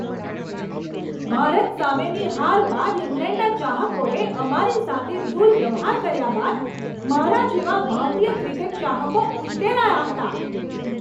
ભારત સામેની હાર બાદ ઇંગ્લેન્ડના ચાહકોએ અમારી સાથે દુર્વ્યવહાર કર્યા બાદ મારા જેવા ભારતીય ક્રિકેટ ચાહકો ઉશ્કેરાયા હતા.